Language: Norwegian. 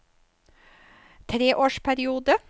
treårsperiode